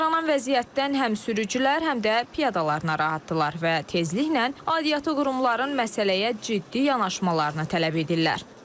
Yaranan vəziyyətdən həm sürücülər, həm də piyadalar narahatdırlar və tezliklə aidiyyatı qurumların məsələyə ciddi yanaşmalarını tələb edirlər.